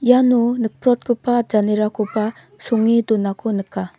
iano nikprotgipa janerakoba songe donako nika.